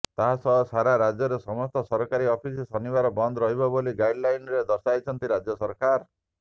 ତାସହ ସାରା ରାଜ୍ୟରେ ସମସ୍ତ ସରକାରୀ ଅଫିସ ଶନିବାର ବନ୍ଦ ରହିବ ବୋଲି ଗାଇଡଲାଇନ୍ରେ ଦର୍ଶାଇଛନ୍ତି ରାଜ୍ୟ ସରକାର